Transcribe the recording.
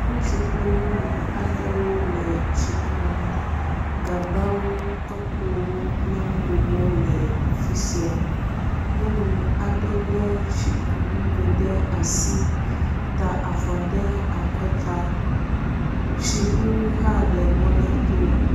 Ŋutsu kple nyɔnu aɖewo le tsi kum. Gagbawo, tɔkpowo kple ŋgowo le afi sia. Nyɔnu aɖe le tsikunugo ɖe asi ta avɔ ɖe akɔta. Tsiŋu hã le mɔ la to.